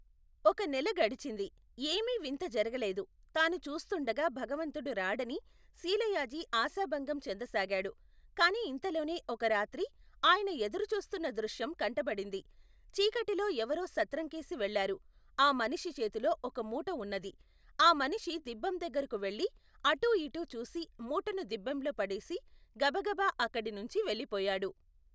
ఒక నెల గడిచింది ఏమీ వింత జరగలేదు తాను చూస్తుండగా భగవంతుడు రాడని శీలయాజి ఆశాభంగం చెందసాగాడు కాని ఇంతలోనే ఒక రాత్రి ఆయన ఎదురుచూస్తున్న దృశ్యం కంటబడింది చీకటిలో ఎవరో సత్రంకేసి వెళ్ళారు ఆ మనిషి చేతిలో ఒక మూట ఉన్నది ఆ మనిషి దిబ్బెందగ్గరకు వెళ్ళి అటూ ఇటూ చూసి మూటను దిబ్బెంలో పడేసి గబగబా అక్కడి నించి వెళ్లిపోయాడు.